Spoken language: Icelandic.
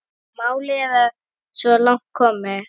Málið er svo langt komið.